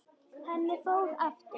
Henni fór aftur.